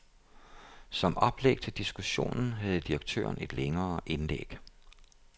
Som oplæg til diskussionen havde direktøren et længere indlæg.